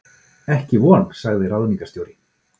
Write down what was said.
Ekki von sagði ráðningarstjóri.